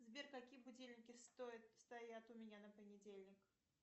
сбер какие будильники стоят стоят у меня на понедельник